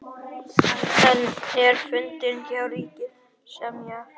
Enn er fundað hjá ríkissáttasemjara